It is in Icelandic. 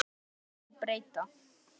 Lögum má breyta.